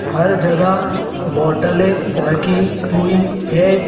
हर जगह बोटले रखी हुई है।